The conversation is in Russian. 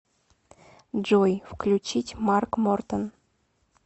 джой включить марк мортон